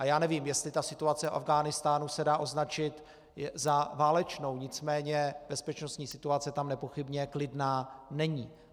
A já nevím, jestli ta situace v Afghánistánu se dá označit za válečnou, nicméně bezpečnostní situace tam nepochybně klidná není.